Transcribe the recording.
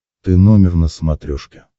ты номер на смотрешке